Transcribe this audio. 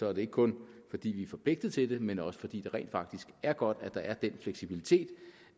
er det ikke kun fordi vi er forpligtet til det men også fordi det rent faktisk er godt at der er den fleksibilitet